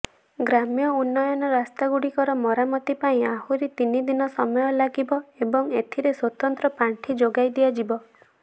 ଗ୍ରାମ୍ୟ ଉନ୍ନୟନ ରାସ୍ତାଗୁଡିକର ମରାମତି ପାଇଁ ଆହୁରି ତିନିଦିନ ସମୟ ଲାଗିବ ଏବଂ ଏଥିରେ ସ୍ୱତନ୍ତ୍ର ପାଣ୍ଠି ଯୋଗାଇଦିଆଯିବ